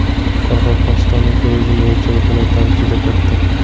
Qoraqalpog‘istonning turizm bo‘yicha imkoniyatlari juda katta.